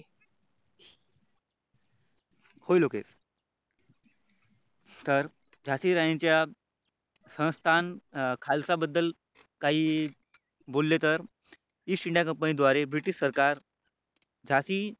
होय लोकेश. तर झाशी राणीच्या संस्थान खालसा बद्दल काही बोलले तर East indiaCompany द्वारे British सरकार झाशी